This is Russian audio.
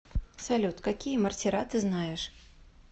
салют какие мортира ты знаешь